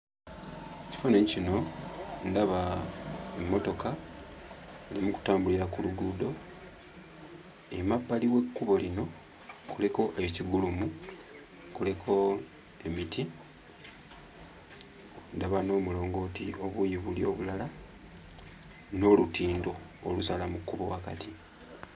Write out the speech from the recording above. Ekifaananyi kino ndaba emmotoka eri mu kutambulira ku luguudo. Emabbali w'ekkubo lino kuliko ekigulumo, kuliko emiti, ndaba n'omulongooti obuuyi buli obulala n'olutindo olusala mu kkubo wakati.